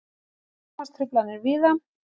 Rafmagnstruflanir víða